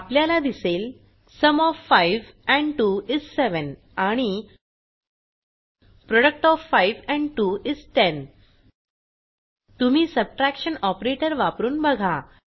आपल्याला दिसेल sum OF 5 and 2 is 700 आणि प्रोडक्ट ओएफ 5एंड 2 इस 1000 तुम्ही सबट्रॅक्शन ऑपरेटर वापरून बघा